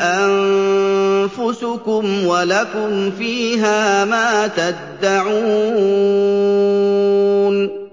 أَنفُسُكُمْ وَلَكُمْ فِيهَا مَا تَدَّعُونَ